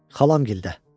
Xalam gildə.